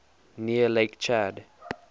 near lake chad